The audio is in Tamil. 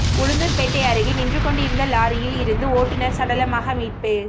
உளுந்தூர்பேட்டை அருகே நின்றுக் கொண்டிருந்த லாரியில் இருந்து ஓட்டுனர் சடலமாக மீட்பு